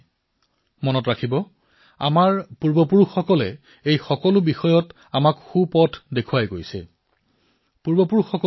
মনত ৰাখিব আমাৰ পূৰ্বপুৰুষসকলে আমাক এই বিষয়ে অতি সুন্দৰভাৱে কৈ গৈছে